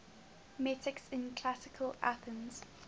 metics in classical athens